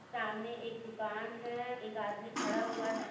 सामने एक दुकान है एक आदमी खड़ा हुआ है।